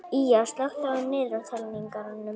Ýja, slökktu á niðurteljaranum.